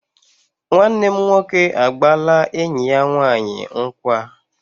Nwanne m nwoke agbaala enyi ya nwanyi nkwa